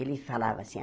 Ele falava assim.